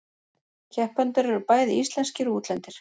Keppendur eru bæði íslenskir og útlendir